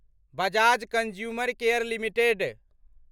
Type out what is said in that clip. Bajaj consumer care limited